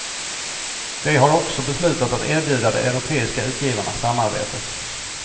De har också beslutat att erbjuda de europeiska utgivarna samarbete.